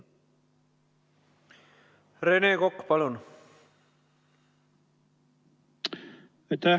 Rene Kokk, palun!